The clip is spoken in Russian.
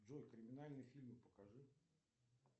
джой криминальные фильмы покажи